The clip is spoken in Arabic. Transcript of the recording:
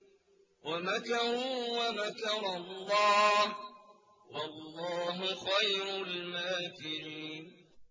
وَمَكَرُوا وَمَكَرَ اللَّهُ ۖ وَاللَّهُ خَيْرُ الْمَاكِرِينَ